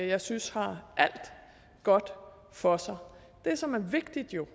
jeg synes har alt godt for sig det som er vigtigt jo